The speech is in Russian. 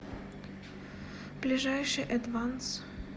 ближайший эдванс